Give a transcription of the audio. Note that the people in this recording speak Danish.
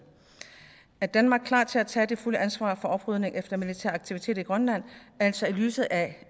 er danmark klar til at tage det fulde ansvar for oprydningen efter militære aktiviteter i grønland altså i lyset af